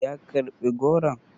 ya karɓi goron?